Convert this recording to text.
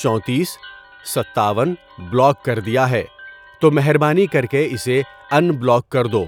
چونتیس ، ستاون ، بلاک کر دیا ہے، تو مہربانی کر کے اسے ان بلاک کر دو۔